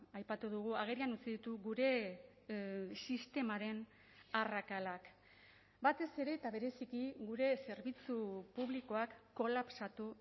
aipatu dugu agerian utzi ditu gure sistemaren arrakalak batez ere eta bereziki gure zerbitzu publikoak kolapsatu